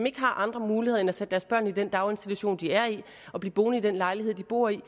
ikke andre muligheder end at sætte deres børn i den daginstitution de er i og blive boende i den lejlighed de bor i og